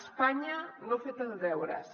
espanya no ha fet els deures